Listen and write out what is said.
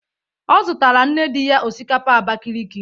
Ọ zutara nne dị ya osikapa Abakaliki.